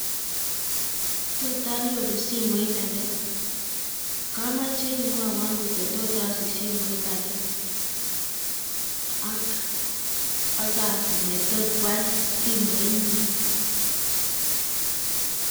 Totanyoru simoit ake kamoche imwaiwo kototasich simoit ake ak Kasi notot kwal simoit nyu